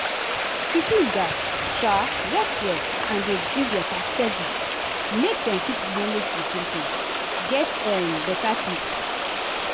pikin gatz um rest well and dey drink water steady make dem fit manage di symptoms get um beta quick.